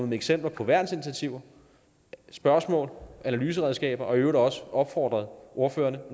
med eksempler på værnsinitiativer spørgsmål analyseredskaber og i øvrigt også har opfordret ordførerne